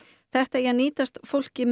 þetta eigi að nýtast fólki